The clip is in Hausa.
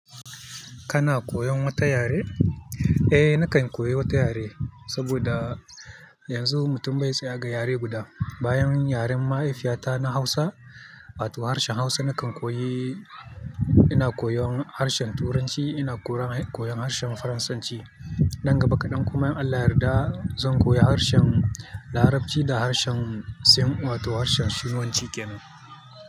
Kana koyon wata yare? Eh, nakan koyi wata yare saboda yanzu mutum bai tsaya ga yare guda. Bayan yaren mahaifiyata na Hausa, wato harshen Hausa, nakan koyi, ina koyon harshen Turanci, ina koyon harshen Faransanci. Nan gaba kaɗan kuma in Allah ya yarda zan koyi harshen Larabci da harshen Sin wato harshen Sinuanci kenan.